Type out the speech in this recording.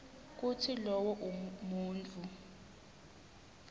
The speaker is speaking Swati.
kutsi lowo muntfu